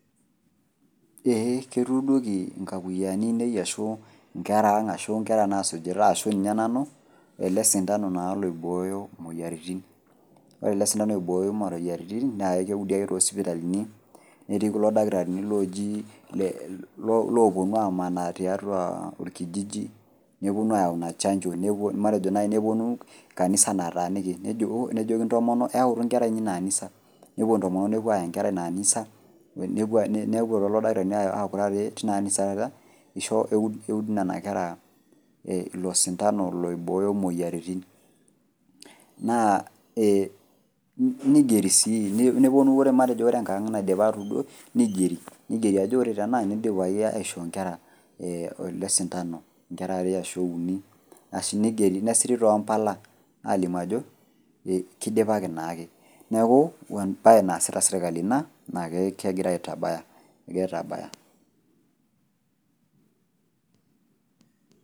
Eeeh ketuudoki inkakuyiani ang' ashu inkera ang' ashu inkera naasujita ashu ninye nanu ele sindano naa oibooyo imoyiaritin. Ore ele sindano oibooyo imoyiaritin naa keudi ake too sipitaalini netii kulo dakitarini owuonu amanaa tiatua olkijiji newuonu ayau ina chanjo matejo naai newuonu kanisa nataaniki nejoki intomono eyautu inkera inyi ina kanisa newuo intomono newuo ayaa inkera ina anisa newuo lelo dakitarini aaku taata tina anisa taata eisho eud nena kera ilo sindano oibooyo imoyiaritin. Naa neigeri sii newuonu matejo enkang' naidipaki aatudoi neigeri ajo ore tenaa ang' neidipaki aishoo inkera ele sindano nesiri too mpala alimu keidipaki naake. Neaku embae naasita serkali ina naake kegira aitabaya egira aitabaya.